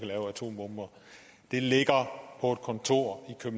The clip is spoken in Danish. lave atombomber ligger på et kontor